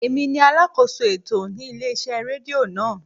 Emi ni alákóso ètò ní ilé iṣẹ́ rédíò náà.